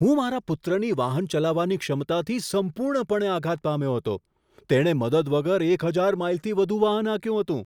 હું મારા પુત્રની વાહન ચલાવવાની ક્ષમતાથી સંપૂર્ણપણે આઘાત પામ્યો હતો! તેણે મદદ વગર એક હજાર માઈલથી વધુ વાહન હાંક્યું હતું!